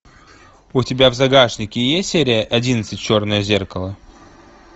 у тебя в загашнике есть серия одиннадцать черное зеркало